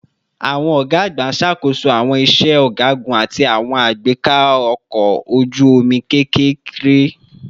Awọn ọga agba n ṣakoso awọn iṣẹ ọgagun ati awọn agbeka ọkọ oju-omi kekere